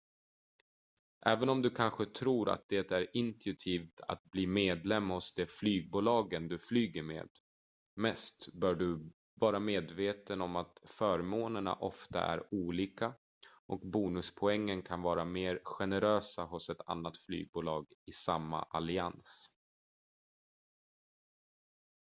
även om du kanske tror att det är intuitivt att bli medlem hos det flygbolag du flyger med mest bör du vara medveten om att förmånerna ofta är olika och bonuspoängen kan vara mer generösa hos ett annat flygbolag i samma allians